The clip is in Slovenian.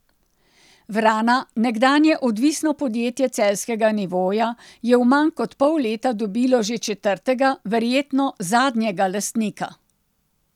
Vrana, nekdanje odvisno podjetje celjskega Nivoja, je v manj kot pol leta dobilo že četrtega, verjetno zadnjega lastnika.